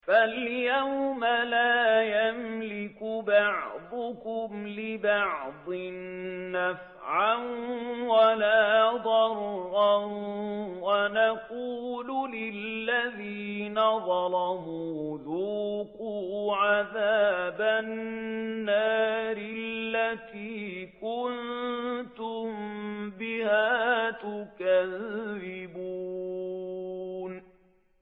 فَالْيَوْمَ لَا يَمْلِكُ بَعْضُكُمْ لِبَعْضٍ نَّفْعًا وَلَا ضَرًّا وَنَقُولُ لِلَّذِينَ ظَلَمُوا ذُوقُوا عَذَابَ النَّارِ الَّتِي كُنتُم بِهَا تُكَذِّبُونَ